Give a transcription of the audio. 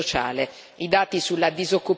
I dati sulla disoccupazione